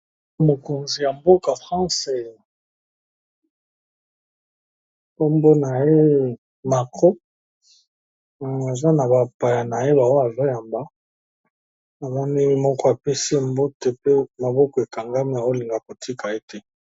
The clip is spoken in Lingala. mokonzi ya mboka france ambona ye macro aza na bapaya na ye baoye azoyamba abanemi moko apesi mboto pe maboko ekangami olinga kotika ete